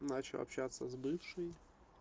начал общаться с бывшей